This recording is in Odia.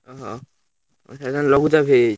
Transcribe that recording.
ଓହୋ ଏଇଖିଣା ଲଘୁଚାପ ହେଇଯାଇଛି?